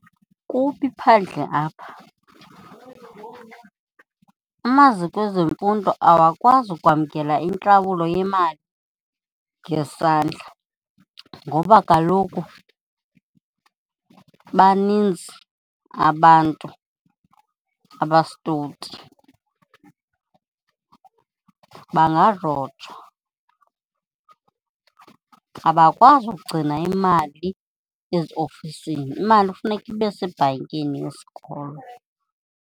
Kubi phandle apha. Amaziko ezemfundo awakwazi ukwamkela intlawulo yemali ngesandla ngoba kaloku baninzi abantu abasitowuti. Bangarojwa, abakwazi ugcina imali eziofisini, imali kufuneka ibe sebhankini yesikolo.